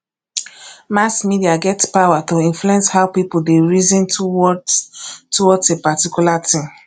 um mass media get power to influence how pipo de reason towards towards a particular thing